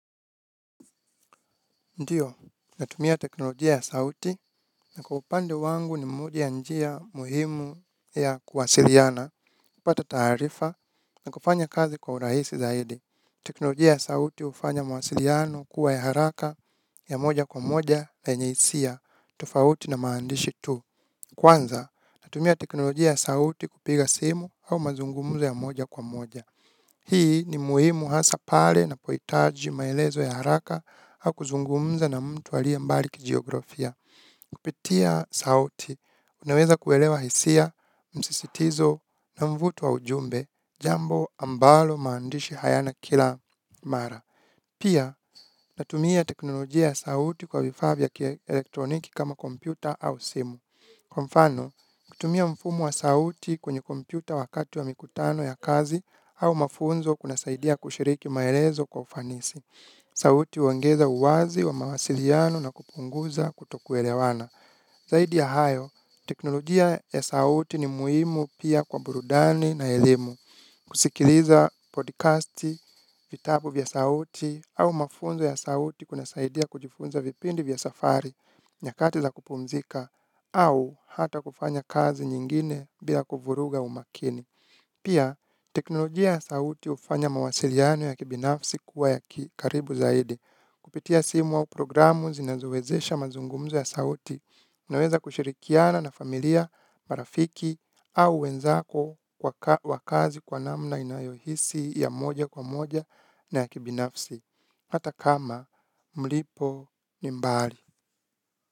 Ndio natumia teknolojia ya sauti na kwa upande wangu ni moja ya njia muhimu ya kuwasiliana kupata taarifa na kufanya kazi kwa urahisi zaidi teknolojia ya sauti hufanya mawasiliano kuwa ya haraka ya moja kwa moja yenye hisia tofauti na maandishi tu. Kwanza natumia teknolojia ya sauti kupiga simu au mazungumuzo ya moja kwa moja. Hii ni muhimu hasa pale ninapohitaji maelezo ya haraka au kuzungumza na mtu alie mbali kijiografia. Kupitia sauti unaweza kuelewa hisia msisitizo na mvuto wa ujumbe jambo ambalo maandishi hayana kila mara. Pia natumia teknolojia ya sauti kwa vifaa vya kielektroniki kama kompyuta au simu. Kwa mfano kutumia mfumo wa sauti kwenye kompyuta wakati wa mikutano ya kazi au mafunzo kunasaidia kushiriki maelezo kwa ufanisi. Sauti huongeza uwazi wa mawasiliano na kupunguza kutokuelewana. Zaidi ya hayo teknolojia ya sauti ni muhimu pia kwa burudani na elimu. Kusikiliza podcasti vitabu vya sauti au mafunzo ya sauti kunasaidia kujifunza vipindi vya safari nyakati za kupumzika au hata kufanya kazi nyingine bila kuvuruga umakini. Pia teknolojia ya sauti hufanya mawasiliano ya kibinafsi kuwa ya kikaribu zaidi. Kupitia simu au programu zinazo wezesha mazungumzo ya sauti. Naweza kushirikiana na familia marafiki au wenzako wa kazi kwa namna inayohisi ya moja kwa moja na ya kibinafsi. Hata kama mlipo ni mbali.